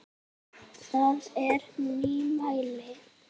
Það er nýmæli.